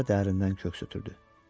Qoca dərindən köks ötürdü.